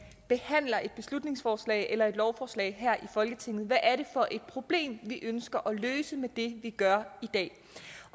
behandler et beslutningsforslag eller et lovforslag her i folketinget hvad er det for et problem vi ønsker at løse med det vi gør i dag